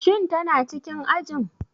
Shin tana cikin ajin?